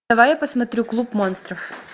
давай я посмотрю клуб монстров